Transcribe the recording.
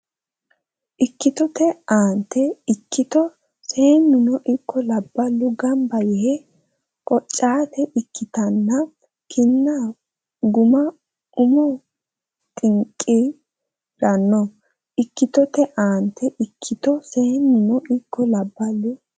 Ikkitote aante Ikkito seennuno ikko labballu gamba yee qoccaate ikkitanno kinna gumma Umo xinqi ranno Ikkitote aante Ikkito seennuno ikko labballu.